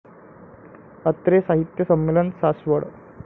अत्रे साहित्य संमेलन, सासवड